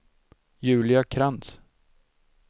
Julia Krantz